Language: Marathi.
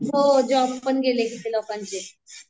हो जॉब पण गेले किती लोकांचे.